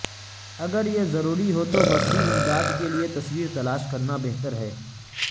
اگر یہ ضروری ہو تو بصری امداد کے لئے تصویر تلاش کرنا بہتر ہے